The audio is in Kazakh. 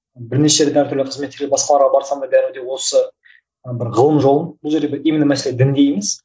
бірнеше рет әртүрлі қызметтер басқаларға барсам да бәрібір де осы бір ғылым жолы бұл жерде именно мәселе дінде емес